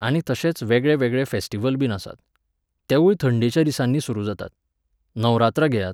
आनी तशेंच वेगळे वेगळे फॅस्टिवल बीन आसात. तेवूय थंडेच्या दिसांनी सुरू जातात. नवरात्रां घेयात